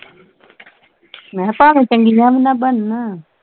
ਮੈਂ ਭਾਵੇਂ ਚੰਗੀਆਂ ਵੀ ਨਾ ਬਣਨ